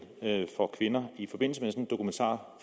for kvinder i forbindelse med